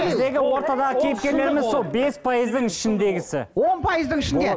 біздегі ортадағы кейіпкерлеріміз сол бес пайыздың ішіндегісі он пайыздың ішінде